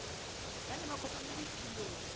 ba ne ba kopanele tulong